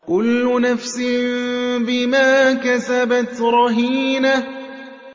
كُلُّ نَفْسٍ بِمَا كَسَبَتْ رَهِينَةٌ